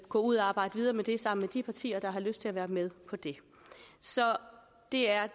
gå ud og arbejde videre med det sammen med de partier der har lyst til at være med på det så det er